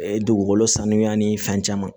Dugukolo sanuya ni fɛn caman